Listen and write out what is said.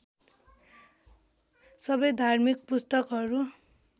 सबै धार्मिक पुस्तकहरू